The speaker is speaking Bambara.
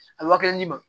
A bɛ waa kelen di ma